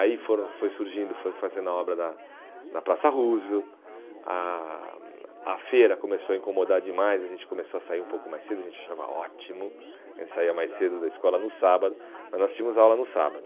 Aí foram foi surgindo, foi fazendo a obra da da Praça Roosevelt, a a hum a feira começou a incomodar demais, a gente começou a sair um pouco mais cedo, a gente achava ótimo, a gente saía mais cedo da escola no sábado né, nós tínhamos aula no sábado.